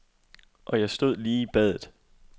Og jeg stod lige i badet.